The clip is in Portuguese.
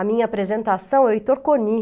A minha apresentação é o Heitor Coni.